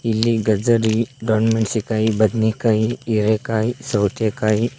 ಇಲ್ಲಿ ಗಜ್ಜರಿ ದೊಣ್ಮೆನ್ಶಿನ್ಕಾಯಿ ಬದನೆಕಾಯ್ ಹಿರೆಕಾಯ್ ಸೌತೆಕಾಯ್ --